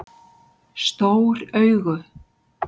Stór augu